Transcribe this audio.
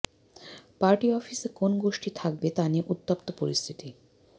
party অফিসে কোন গোষ্ঠী থাকবে তা নিয়ে উত্তপ্ত পরিস্থিতি